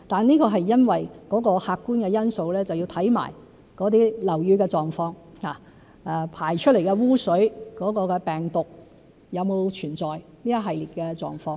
這是因為客觀的因素，即是要看看樓宇的狀況、排出的污水有沒有存在病毒等一系列的狀況。